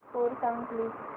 score सांग please